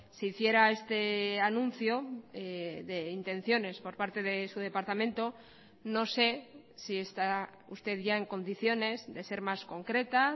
se hiciera este anuncio de intenciones por parte de su departamento no sé si está usted ya en condiciones de ser más concreta